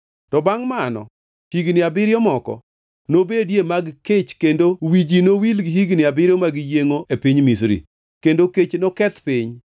to bangʼ mano higni abiriyo moko nobedie mag kech kendo wi ji nowil gi higni abiriyo mag yiengʼo e piny Misri, kendo kech noketh piny.